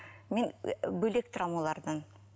мен бөлек тұрамын олардан